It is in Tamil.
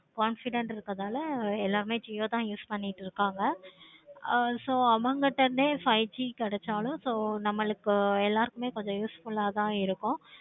confident இருக்கனால எல்லாரும் jio தான் use பண்ணிக்கிட்டு இருக்காங்க. so அவங்ககிட்ட இருந்தே five G கிடைச்சாலும் so நம்மளுக்கு எல்லாருக்குமே கொஞ்சம் useful ஆஹ் இருக்கும்.